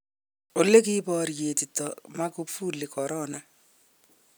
Ole kiborietito Magufuli korona.